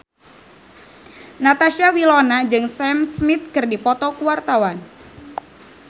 Natasha Wilona jeung Sam Smith keur dipoto ku wartawan